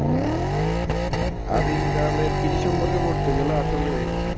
আদিম কাল এর কৃষি সম্পর্কে পড়তে গেলে আসলে